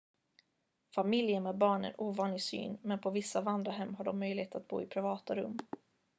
familjer med barn är en ovanlig syn men på vissa vandrarhem har de möjlighet att bo i privata rum